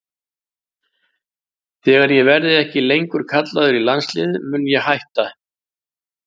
Þegar ég verði ekki lengur kallaður í landsliðið mun ég hætta.